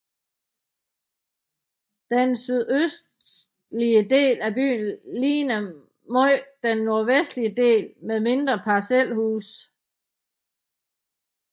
Den sydøstlige del af byen ligner meget den nordvestlige del med mindre parcelhuse